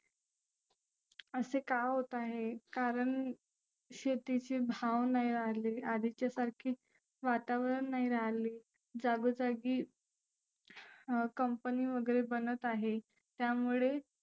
असे का होत आहे कारण शेतीची भाव नाही रहाली आधीच्या सारखी वातावरन नाही राहली जागो जागी अं company वगैरे बनत आहे. त्यामुळे